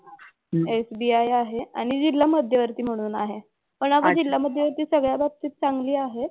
SBI आहे. आणि जिल्हा मध्यवर्ती म्हणून आहे. पण अगं जिल्हा मध्यवर्ती सगळ्या बाबतीत चांगली आहे.